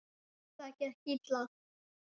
Það gekk illa.